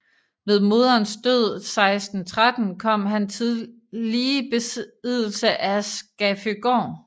Ved moderens død 1613 kom han tillige i besiddelse af Skaføgård